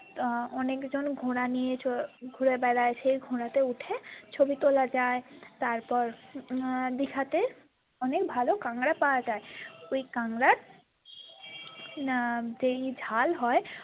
অনেকজন ঘোড়া নিয়ে ঘুড়ে বেড়ায় সেই ঘোড়াতে উঠে ছবি তোলা যায় তারপর দিঘাতে অনেক ভালো কাঁকরা পাওয়া যায় ওই কাঁকরার না উম যে ঝাল হয়।